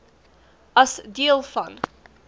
as deel van